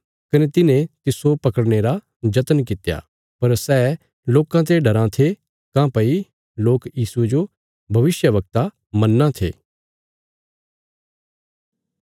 कने तिन्हे तिस्सो पकड़ने रा जत्न कित्या पर सै लोकां ते डराँ थे काँह्भई लोक यीशुये जो भविष्यवक्ता मन्नां थे